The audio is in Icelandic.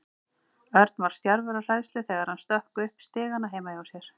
Örn var stjarfur af hræðslu þegar hann stökk upp stigana heima hjá sér.